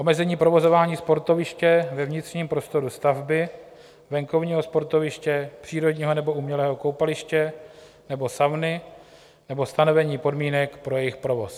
Omezení provozování sportoviště ve vnitřním prostoru stavby, venkovního sportoviště, přírodního nebo umělého koupaliště nebo sauny nebo stanovení podmínek pro jejich provoz.